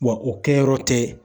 Wa o kɛyɔrɔ tɛ